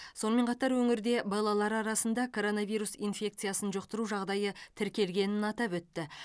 сонымен қатар өңірде балалар арасында коронавирус инфекциясын жұқтыру жағдайы тіркелгенін атап өтті